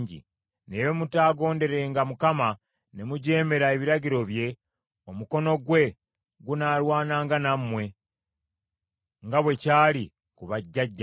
Naye bwe mutaagonderenga Mukama , ne mujeemera ebiragiro bye, omukono gwe gunaalwananga nammwe, nga bwe kyali ku bajjajjammwe.